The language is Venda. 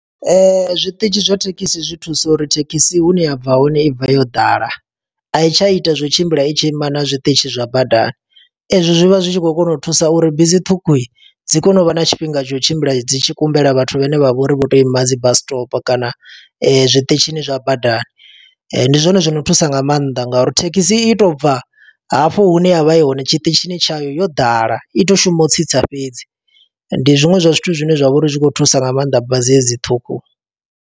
Zwiṱitshi zwa thekhisi zwi thusa uri thekhisi hune ya bva hone i bva yo ḓala, a i tsha ita zwo tshimbila i tshi ima na zwiṱitshi zwa badani. Ezwo zwi vha zwi tshi khou kona u thusa uri bisi ṱhukhu, dzi kone u vha na tshifhinga tsha u tshimbila dzi tshi kumbela vhathu vhane vha vho uri vho to ima dzi bus stop kana zwiṱitshini zwa badani. ndi zwone zwo no thusa nga maanḓa nga uri thekhisi i to bva, hafho hune ya vha i hone tshiṱitshini tshayo yo ḓala. I to shuma u tsitsa fhedzi. Ndi zwiṅwe zwa zwithu zwine zwa vha uri zwi khou thusa nga maanḓa, bazi hedzi ṱhukhu.